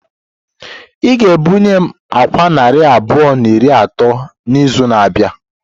Ị ga-ebunye m àkwá narị abụọ na iri atọ n'izu na-abịa!